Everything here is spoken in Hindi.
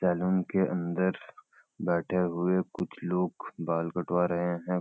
सैलून के अंदर बैठे हुए कुछ लोग बाल कटवा रहें हैं।